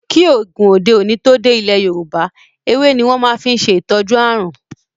kí oògùn òde òni tó dé ilẹ Yorúbá, ewé ní wón máa fí n ṣe ìtọjú àrùn.